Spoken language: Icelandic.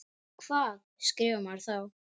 Um hvað skrifar maður þá?